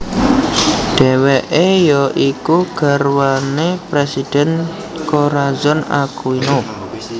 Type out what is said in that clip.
Dheweke ya iku garwane Presiden Corazon Aquino